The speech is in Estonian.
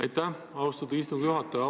Aitäh, austatud istungi juhataja!